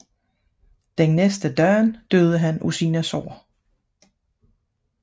Den næste dag døde han af sine sår